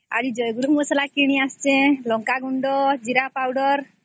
ଆରେ ମସଲା କିଣି ଆସିଛି ଯେ ଲଙ୍କା ଗୁଣ୍ଡ ଜୀରା ଗୁଣ୍ଡ